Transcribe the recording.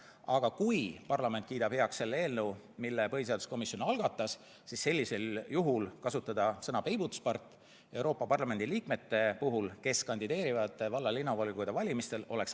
Aga kui parlament kiidab heaks selle eelnõu, mille põhiseaduskomisjon algatas, siis sellisel juhul oleks äärmiselt kohatu kasutada sõna "peibutuspart" Euroopa Parlamendi liikmete kohta, kes kandideerivad valla- ja linnavolikogude valimistel.